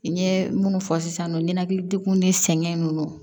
N ye munnu fɔ sisan nɔ ninakili degun ni sɛgɛn ninnu